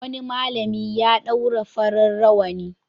Wani malami ya ɗaura farin rawani.